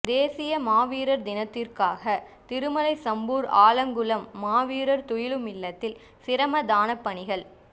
தேசிய மாவீரர் தினத்திற்காக திருமலை சம்பூர் ஆலங்குளம் மாவீரர் துயிலுமில்லத்தில் சிரமதானப்பணிகள்